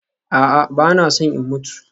A'a, ba na son in mutu